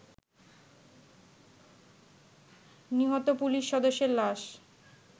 নিহত পুলিশ সদস্যের লাশ